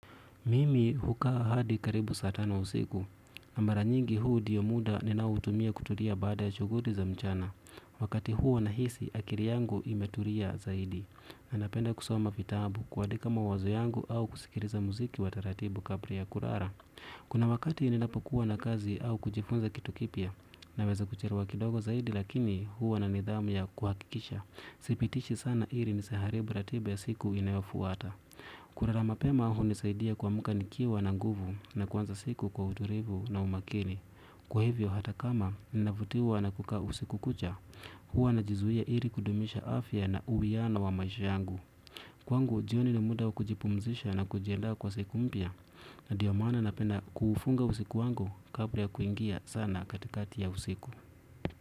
Mimi hukaa hadi karibu saa tano usiku, amara nyingi huu diyo muda ninautumia kutulia baada ya shuguri za mchana, wakati huwanahisi akiri yangu imetulia zaidi, anapenda kusoma vitabu kuadika mawazo yangu au kusikiriza muziki wa taratibu kabra ya kurara. Kuna wakati ninapokuwa na kazi au kujifunza kitu kipya, naweza kuchelewa kidogo zaidi lakini huwa na nidhamu ya kuhakikisha, sipitishi sana iri nisiharibu ratiba ya siku inayofuata. Kulala mapema hunisaidia kuamuka nikiwa na nguvu na kwanza siku kwa uturivu na umakini. Kwa hivyo hata kama ninavutiwa na kukaa usiku kucha huwa na jizuia ili kudumisha afya na uwiano wa maisha yangu. Kwangu, jioni ni muda wa kujipumzisha na kujiandaa kwa siku mpya. Na ndiyo maana napena kufunga usiku wangu kabla ya kuingia sana katikati ya usiku.